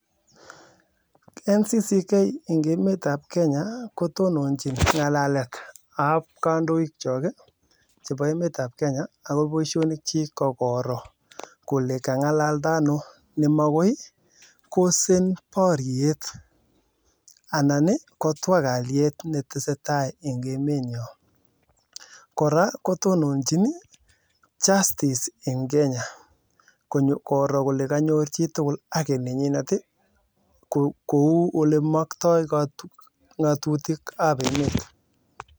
Tononjin ngalalet ab kandoik chok ii chepo emet ab kenya ako boishonik chik kokoroo kolee kangalalda ano nemakoi kosan barriet koraa kotononjin (justice) ing kenya koro kole kanyor chitukul haki nenywa kouu olemoktoo ngatutik ab emet